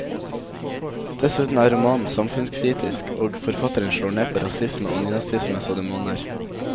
Dessuten er romanen samfunnskritisk, og forfatteren slår ned på rasisme og nynazisme så det monner.